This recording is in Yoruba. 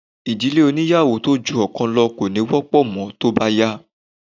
Ìdílé oníyàwó tó ju ọ̀kan lọ kò ní wọ́pọ̀ mọ́ tó bá yá